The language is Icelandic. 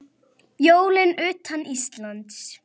Jólin utan Íslands